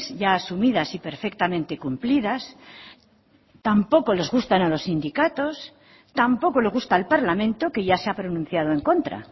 ya asumidas y perfectamente cumplidas tampoco les gustan a los sindicatos tampoco le gusta el parlamento que ya se ha pronunciado en contra